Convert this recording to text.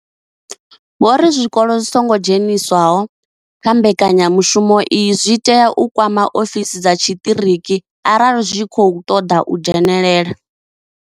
Vho ri zwikolo zwi songo dzheniswaho kha mbekanyamushumo iyi zwi tea u kwama ofisi dza tshiṱiriki arali zwi tshi khou ṱoḓa u dzhenelela.